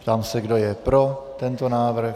Ptám se, kdo je pro tento návrh.